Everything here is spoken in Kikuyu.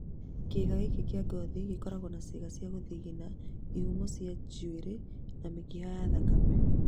Kĩga gĩkĩ kĩa ngothi gĩkoragwo na ciĩga cia gũthigina, ihumo cia njuĩri, na mĩkiha ya thakame